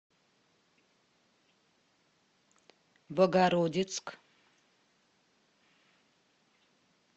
богородицк